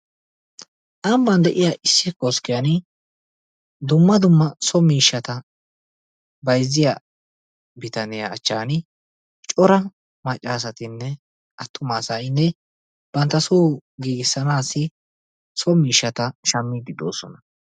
Ambban de"iya issi koskkiyaani dumma dumma so miishshata bayizziya bitaniya achchaani cora maccaasattinne attuma asayinne bantta soo giigissanaassi so miishshata shammiidi doosona.